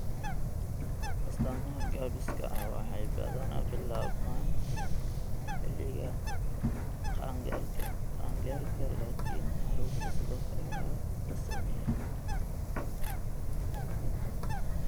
Astaamaha gaabiska ah waxay badanaa bilaabmaan xilliga qaangaarka, laakiin carruurta sidoo kale waa la saameeyaa.